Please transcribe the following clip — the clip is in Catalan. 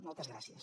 moltes gràcies